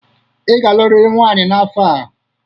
Ị ga-alụrịrị nwaanyị n'afọ a.